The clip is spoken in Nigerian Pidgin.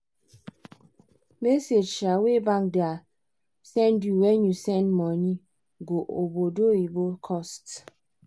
message um wey bank da send you when you send money go obodoyibo cost